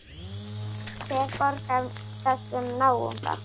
Hver borgar þessum náunga?